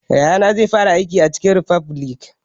Yayana zai fara aiki a chicken refubilik